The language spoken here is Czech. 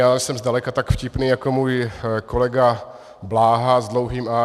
Já nejsem zdaleka tak vtipný jako můj kolega Bláha s dlouhým a.